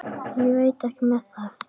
Ég veit ekki með það.